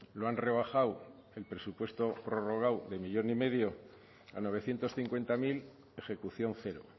lo han rebajado el presupuesto prorrogado de uno coma cinco millón a novecientos cincuenta mil ejecución cero